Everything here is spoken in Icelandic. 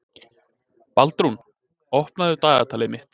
Baldrún, opnaðu dagatalið mitt.